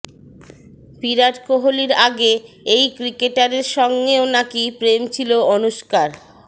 বিরাট কোহলির আগে এই ক্রিকেটারের সঙ্গেও নাকি প্রেম ছিল অনুষ্কার